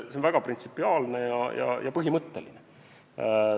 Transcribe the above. See on väga printsipiaalne ja põhimõtteline.